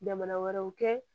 Jamana wɛrɛw kɛ